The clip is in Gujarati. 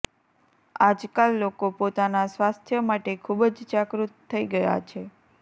આજકાલ લોકો પોતાના સ્વાસ્થ્ય માટે ખૂબ જ જાગૃત થઈ ગયા છે